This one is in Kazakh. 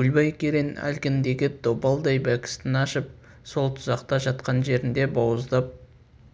көлбай керең әлгіндегі добалдай бәкісін ашып сол тұзақта жатқан жерінде бауыздап